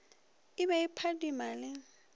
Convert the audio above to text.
e be e phadima le